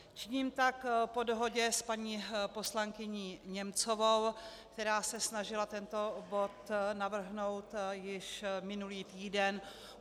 Činím tak po dohodě s paní poslankyní Němcovou, která se snažila tento bod navrhnout již minulý týden.